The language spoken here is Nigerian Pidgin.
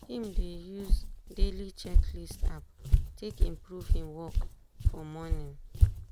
him dey use daily checklist app take improve him work for morning.